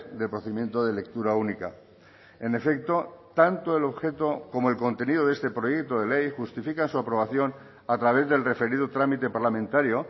del procedimiento de lectura única en efecto tanto el objeto como el contenido de este proyecto de ley justifican su aprobación a través del referido trámite parlamentario